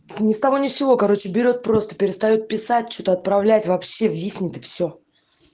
не стого не всего короче берёт просто перестаёт писать что-то отправлять вообще виснет и всё